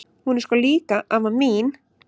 Hún er sko líka amma mín!